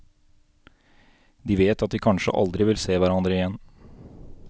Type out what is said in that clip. De vet at de kanskje aldri vil se hverandre igjen.